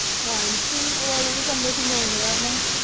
ആ എനിക്കും വളരെ സന്തോഷം തോന്നുന്നു കാരണം